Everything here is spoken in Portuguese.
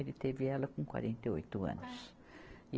Ele teve ela com quarenta e oito anos.